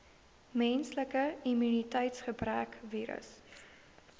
menslike immuniteitsgebrekvirus